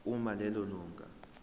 uma lelo lunga